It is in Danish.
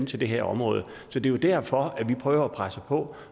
til det her område så det er jo derfor at vi prøver at presse på